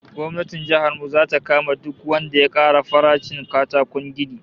Gwamnatin jihar mu zata kama duk wanda ya ƙara farashin katakon gini